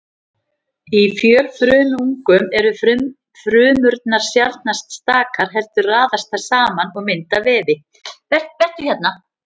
Í fjölfrumungum eru frumurnar sjaldnast stakar heldur raðast þær saman og mynda vefi.